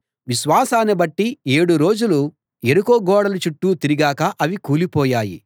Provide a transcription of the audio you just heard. విశ్వాసాన్ని బట్టి ఏడు రోజులు యెరికో గోడల చుట్టూ తిరిగాక అవి కూలిపోయాయి